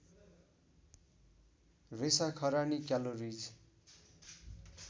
रेसा खरानी क्यालोरिज